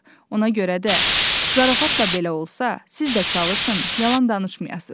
Ona görə də zarafatla belə olsa, siz də çalışın, yalan danışmayasız.